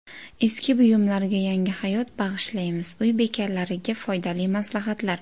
Eski buyumlarga yangi hayot bag‘ishlaymiz: uy bekalariga foydali maslahatlar.